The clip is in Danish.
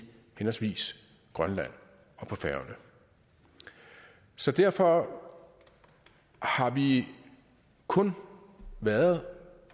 grønland og på færøerne så derfor har vi kun været